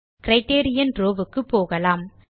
criterion row வுக்கு போகலாம்